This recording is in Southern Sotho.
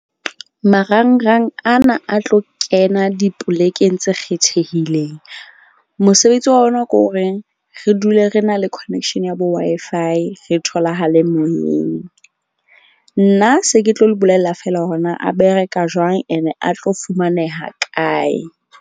Marangrang ana a tlo kena dipolekeng tse kgethehileng. Mosebetsi wa ona ke horeng re dule re na le connection ya bo Wi-Fi re tholahale moyeng. Nna se ke tlo le bolella fela hore na a bereka jwang, and a tlo fumaneha kae.